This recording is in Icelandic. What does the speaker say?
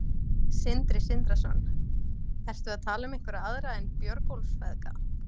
Sindri Sindrason: Ertu að tala um einhverja aðra en Björgólfsfeðga?